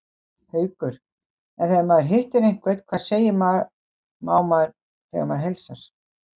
Haukur: En þegar maður hittir einhvern, hvað segir má þegar maður heilsar?